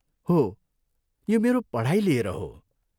हो, यो मेरो पढाइ लिएर हो।